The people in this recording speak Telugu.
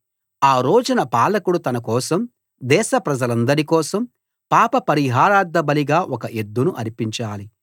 ఆ రోజున పాలకుడు తన కోసం దేశ ప్రజలందరి కోసం పాప పరిహారార్థబలిగా ఒక ఎద్దును అర్పించాలి